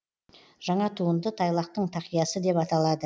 жаңа туынды тайлақтың тақиясы деп аталады